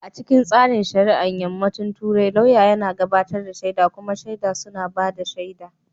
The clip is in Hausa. A cikin tsarin shari'a na Yammacin Turai, lauyan yana gabatar da shaida kuma shaidu suna ba da shaida.